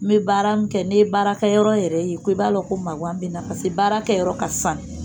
N be baara in kɛ ko ne ye Baarakɛyɔrɔ yɛrɛ ye ko i b'a lɔn ko maŋan be n na passe baara kɛyɔrɔ ka sanu